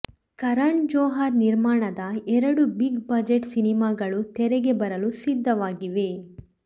ಕರಣ್ ಜೋಹರ್ ನಿರ್ಮಾಣದ ಎರಡು big budget ಸಿನಿಮಾಗಳು ತೆರೆಗೆ ಬರಲು ಸಿದ್ಧವಾಗಿವೆ